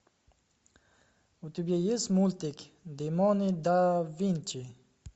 у тебя есть мультик демоны да винчи